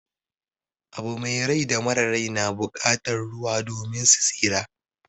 Abu mai rai da mara rai na bukatan ruwa domin su tsira.